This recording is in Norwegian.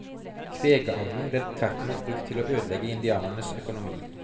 Kvegavlen ble tvertimot brukt til å ødelegge indianernes økonomi.